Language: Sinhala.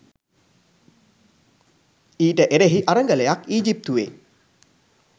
ඊට එරෙහි අරගලයක් ඊජිප්තුවෙ